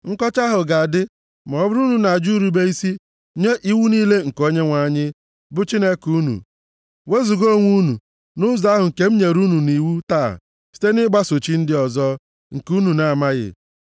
Nkọcha ahụ ga-adị ma ọ bụrụ na unu ajụ irube isi nye iwu niile nke Onyenwe anyị, bụ Chineke unu, wezuga onwe unu nʼụzọ ahụ nke m nyere unu nʼiwu taa site nʼịgbaso chi ndị ọzọ, nke unu na-amaghị.